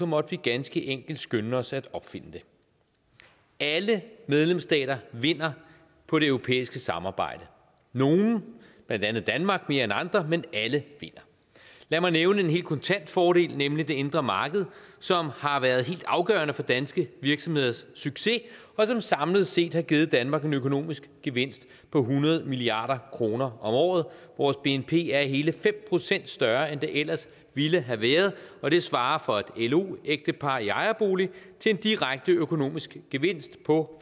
måtte vi ganske enkelt skynde os at opfinde det alle medlemsstater vinder på det europæiske samarbejde nogle blandt andet danmark mere end andre men alle vinder lad mig nævne en helt kontant fordel nemlig det indre marked som har været helt afgørende for danske virksomheders succes og som samlet set har givet danmark en økonomisk gevinst på hundrede milliard kroner om året vores bnp er hele fem procent større end det ellers ville have været og det svarer for et lo ægtepar i ejerbolig til en direkte økonomisk gevinst på